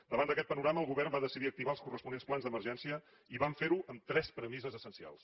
davant d’aquest panorama el govern va decidir activar els corresponents plans d’emergència i vam fer ho amb tres premisses essencials